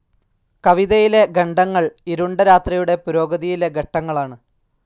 കവിതയിലെ ഖണ്ഡങ്ങൾ ഇരുണ്ട രാത്രിയുടെ പുരോഗതിയിലെ ഘട്ടങ്ങളാണ്.